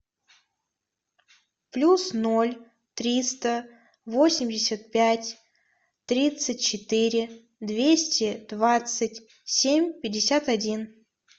плюс ноль триста восемьдесят пять тридцать четыре двести двадцать семь пятьдесят один